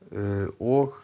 og